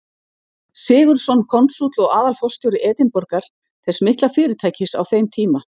Sigurðsson, konsúll og aðalforstjóri Edinborgar, þess mikla fyrirtækis á þeim tíma.